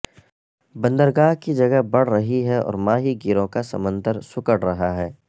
بندرگاہ کی جگہ بڑھ رہی ہے اور ماہی گیروں کا سمندر سکڑ رہا ہے